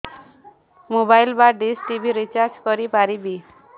mobile ବା dish TV recharge କରି ପାରିବି